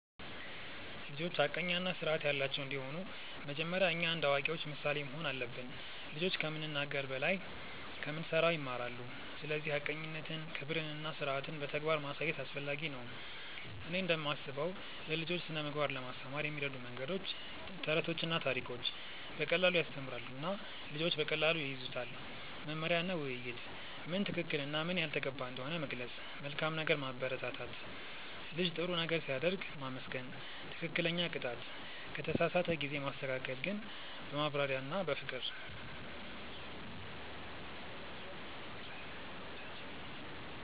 ልጆች ሐቀኛ እና ስርዓት ያላቸው እንዲሆኑ መጀመሪያ እኛ እንደ አዋቂዎች ምሳሌ መሆን አለብን። ልጆች ከምንናገር በላይ ከምንሠራ ይማራሉ፤ ስለዚህ ሐቀኝነትን፣ ክብርን እና ስርዓትን በተግባር ማሳየት አስፈላጊ ነው። እኔ እንደምስበው ለልጆች ስነ ምግባር ለማስተማር የሚረዱ መንገዶች፦ ተረቶችና ታሪኮች –> በቀላሉ ያስተምራሉ እና ልጆች በቀላሉ ይያዙታል። መመሪያ እና ውይይት –> ምን ትክክል እና ምን ያልተገባ እንደሆነ መግለጽ። መልካም ነገር ማበረታት –> ልጅ ጥሩ ነገር ሲያደርግ ማመስገን። ትክክለኛ ቅጣት –> ከተሳሳተ ጊዜ ማስተካከል ግን በማብራሪያ እና በፍቅር።